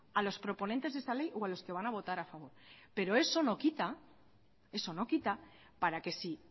a los proponentes de esta ley o a los que van a votar a favor pero eso no quita para que si